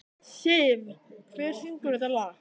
Siv, hver syngur þetta lag?